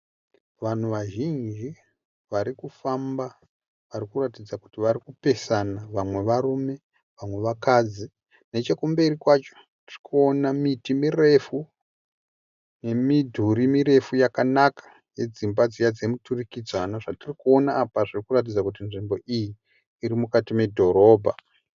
Vanhu vazhinji varikufamba varikuratidza kuti vari kupesana, vamwe varume vamwe vakadzi. Nechekumberi kwacho tirikuona miti mirefu nemidhuri mirefu yakanaka yedzimba dziya dzemuturikidzanwa. Zvatiri kuona apa zvirikuratidza kuti nzvimbo iyi iri mukati medhorobha.